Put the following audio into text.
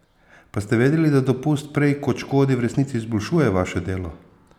Pa ste vedeli, da dopust prej kot škodi, v resnici izboljšuje vaše delo?